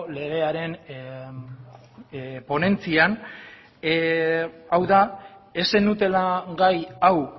legearen ponentzian hau da ez zenutela gai hau